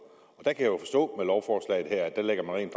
jeg kan jo forstå at lovforslaget her rent